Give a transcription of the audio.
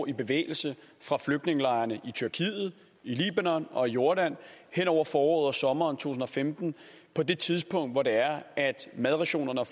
i bevægelse fra flygtningelejrene i tyrkiet i libanon og jordan hen over foråret og sommeren to tusind og femten på det tidspunkt hvor madrationerne og